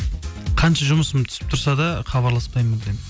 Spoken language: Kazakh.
қанша жұмысым түсіп тұрса да хабарласпаймын мүлдем